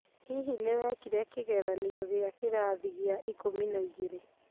Hihi nĩwekire kĩgeranio gĩa kĩrathi gĩa ikũmi na igĩrĩ?